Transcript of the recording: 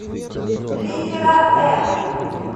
литера м